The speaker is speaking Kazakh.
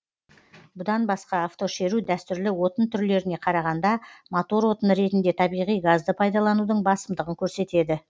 бұдан басқа автошеру дәстүрлі отын түрлеріне қарағанда мотор отыны ретінде табиғи газды пайдаланудың басымдығын көрсетеді